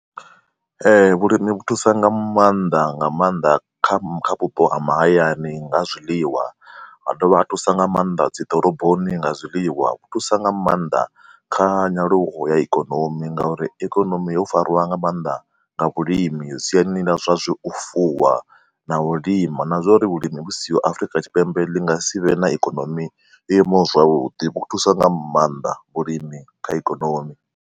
Ee, vhulimi vhu thusa nga maanḓa nga maanḓa kha kha vhupo ha mahayani nga ha zwiḽiwa ha dovha ha thusa nga maanḓa dzi ḓoroboni nga zwiḽiwa. Vhu thusa nga maanḓa kha nyaluo ya ikonomi ngauri ikonomi yo fariwa nga maanḓa nga vhulimi siani ḽa zwa zwi u fuwa na u lima na zwa uri vhulimi vhu siho Afrika Tshipembe ḽi nga si vhe na ikonomi yo imaho zwavhuḓi, vho thusa nga maanḓa vhulimi kha ikonomi.